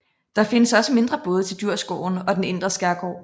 Der findes også mindre både til Djurgården og den indre skærgård